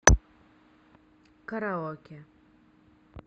караоке